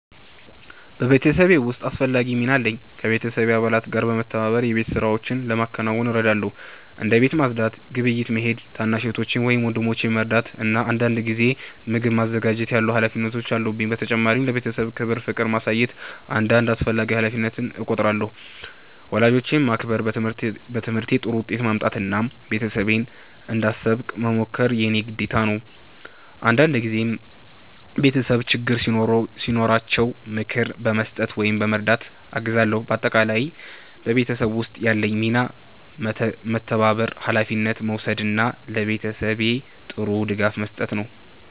በቤተሰቤ ውስጥ አስፈላጊ ሚና አለኝ። ከቤተሰብ አባላት ጋር በመተባበር የቤት ሥራዎችን ለማከናወን እረዳለሁ። እንደ ቤት ማጽዳት፣ ግብይት መሄድ፣ ታናሽ እህቶቼን ወይም ወንድሞቼን መርዳት እና አንዳንድ ጊዜ ምግብ ማዘጋጀት ያሉ ሀላፊነቶች አሉብኝ። በተጨማሪም ለቤተሰቤ ክብር እና ፍቅር ማሳየት እንደ አንድ አስፈላጊ ሀላፊነት እቆጥራለሁ። ወላጆቼን ማክበር፣ በትምህርቴ ጥሩ ውጤት ማምጣት እና ቤተሰቤን እንዳሳብቅ መሞከር የእኔ ግዴታ ነው። አንዳንድ ጊዜም ቤተሰቤ ችግር ሲኖራቸው ምክር በመስጠት ወይም በመርዳት አግዛለሁ። በአጠቃላይ በቤተሰብ ውስጥ ያለኝ ሚና መተባበር፣ ሀላፊነት መውሰድ እና ለቤተሰቤ ጥሩ ድጋፍ መስጠት ነው።